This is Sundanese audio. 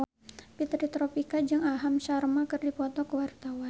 Fitri Tropika jeung Aham Sharma keur dipoto ku wartawan